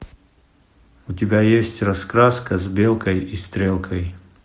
у тебя есть раскраска с белкой и стрелкой